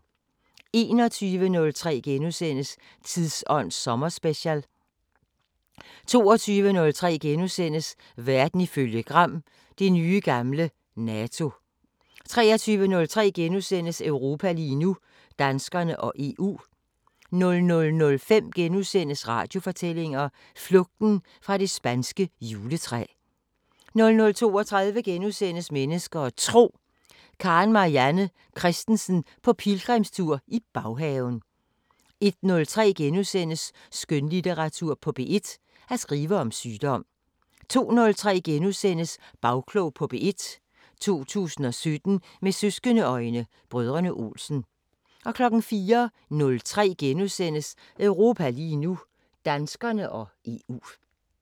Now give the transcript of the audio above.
21:03: Tidsånd sommerspecial * 22:03: Verden ifølge Gram: Det nye gamle NATO * 23:03: Europa lige nu: Danskerne og EU * 00:05: Radiofortællinger: Flugten fra det spanske juletræ * 00:32: Mennesker og Tro: Karen Marianne Kristensen på pilgrimstur i baghaven * 01:03: Skønlitteratur på P1: At skrive om sygdom * 02:03: Bagklog på P1: 2017 med søskende-øjne: Brødrene Olsen * 04:03: Europa lige nu: Danskerne og EU *